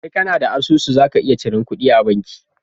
Sai kAna da asusu zaka iya cirar kuɗi a banki